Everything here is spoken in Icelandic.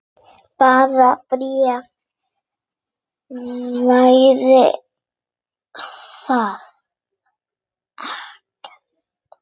Bara bréfið hefði verið ekta!